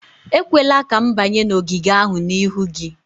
Ekwela ka m banye n'ogige ahụ n'ihu gị!